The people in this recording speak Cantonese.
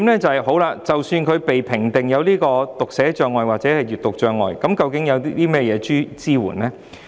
第二，即使學童被評定有讀寫障礙或閱讀障礙，究竟可得到甚麼支援？